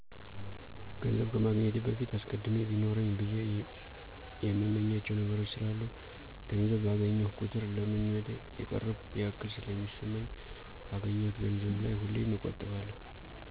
ገንዘብ ከማግኘቴ በፊት አስቀድሜ ቢኖረኝ ብየ የእምመኛቸዉ ነገሮች ስላሉ ገንዘብ ባገኘሁ ቁጥር ለ ምኞቴ የቀረብኩ ያክል ስለሚሰማኝ ካገኘሁት ገንዘብ ላይ ሁሌም እቆጥባለሁ።